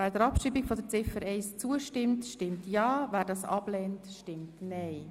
Wer der Abschreibung von Ziffer 1 zustimmt, stimmt ja, wer sie ablehnt, stimmt nein.